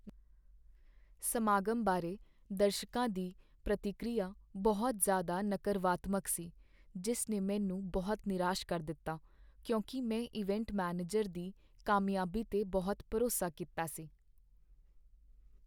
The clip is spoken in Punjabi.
ਸਮਾਗਮ ਬਾਰੇ ਦਰਸ਼ਕਾ ਦੀ ਪ੍ਰਤੀਕੀਰਿਆ ਬਹੁਤ ਜ਼ਿਆਦਾ ਨਕਰਵਾਤਮਕ ਸੀ, ਜਿਸ ਨੇ ਮੈਨੂੰ ਬਹੁਤ ਨਿਰਾਸ਼ ਕਰ ਦਿੱਤਾ ਕਿਉਂਕਿ ਮੈਂ ਇਵੈਂਟ ਮੈਨੇਜਰ ਦੀ ਕਾਮਯਾਬੀ ਤੇ ਬਹੁਤ ਭਰੋਸਾ ਕੀਤਾ ਸੀ।